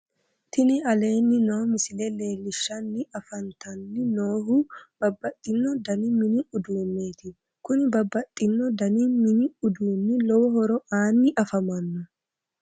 Tini aleenni noo misile leellishshanni afantanni noohu babbaxxino dani mini uduunneeti kuni babbaxxino dani mini uduunni lowo horo aanni afamanno